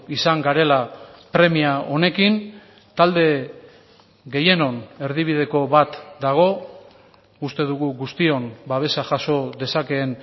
izan garela premia honekin talde gehienon erdibideko bat dago uste dugu guztion babesa jaso dezakeen